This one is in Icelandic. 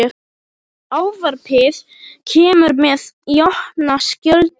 Ávarpið kemur mér í opna skjöldu.